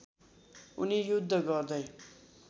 उनी युद्ध गर्दै